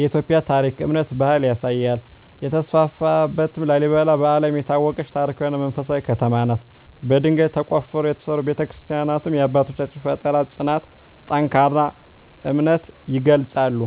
የኢትዮጵያን ታሪክ፣ እምነትና ባህል ያሳያል። 3) የተስፋፋ እትም ላሊበላ በዓለም የታወቀች ታሪካዊ እና መንፈሳዊ ከተማ ናት። በድንጋይ ተቆፍረው የተሠሩ ቤተ-ክርስቲያናትዋ የአባቶቻችንን ፍጠራ፣ ጽናትና ጠንካራ እምነት ይገልጻሉ።